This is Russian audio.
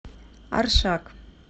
аршак